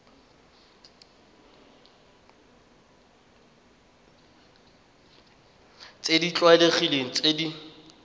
tse di tlwaelegileng tse di